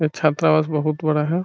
ये छाता बहुत बड़ा है ।